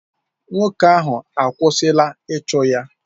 Nwoke ahụ akwụsịla ịchụ ya?